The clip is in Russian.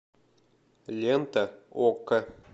лента окко